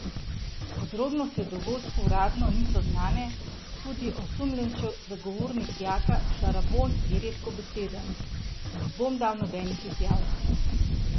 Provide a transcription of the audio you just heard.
Podrobnosti o dogodku uradno niso znane, tudi osumljenčev zagovornik Jaka Šarabon je redkobeseden: "Ne bom dal nobenih izjav.